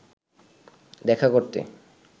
দেখা করতে